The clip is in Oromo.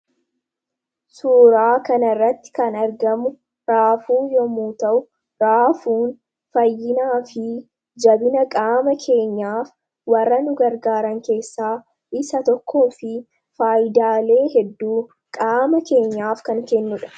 suuraa kana irratti kan argamu raafuu yommuu ta'u raafuun fayyinaa fi jabina qaama keenyaaf warra nu gargaaran keessaa isa tokkoo fi faayidaalee hedduu qaama keenyaaf kan kennudha.